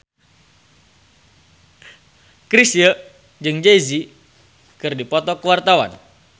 Chrisye jeung Jay Z keur dipoto ku wartawan